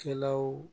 Kɛlaw